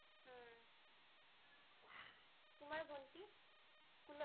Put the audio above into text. উম তোমাৰ ভন্টি? স্কুলত?